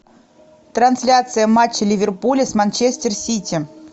трансляция матча ливерпуля с манчестер сити